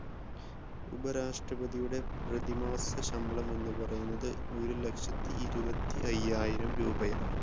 ഉപരാഷ്ട്രപതിയുടെ പ്രതിമാസശമ്പളം എന്ന പറയുന്നത് ഒരുലക്ഷത്തി ഇരുപത്തിഅയ്യായിരം രൂപയാണ്.